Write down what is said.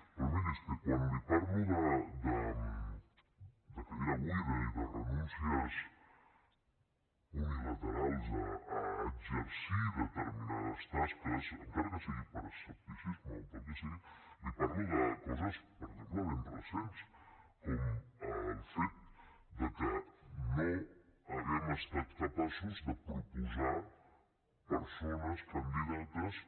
però miri és que quan li parlo de cadira buida i de renúncies unilaterals a exercir determinades tasques encara que sigui per escepticisme o pel que sigui li parlo de coses per exemple ben recents com el fet que no hàgim estat capaços de proposar persones candidates